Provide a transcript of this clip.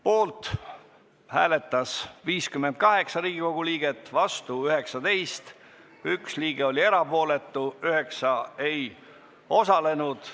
Poolt hääletas 58 Riigikogu liiget, vastu 19, 1 liige jäi erapooletuks, 9 ei osalenud.